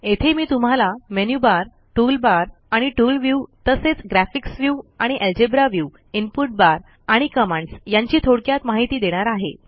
येथे मी तुम्हाला मेनू बार टूल बार आणि टूल व्ह्यू तसेच ग्राफिक्स व्ह्यू आणि अल्जेब्रा व्ह्यू इनपुट बार आणि कमांड्स यांची थोडक्यात माहिती देणार आहे